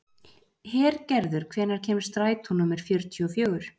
Hergerður, hvenær kemur strætó númer fjörutíu og fjögur?